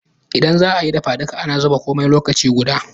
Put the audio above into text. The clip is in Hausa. Indan zaayi dafa duka, ana zuba komai lokaci guda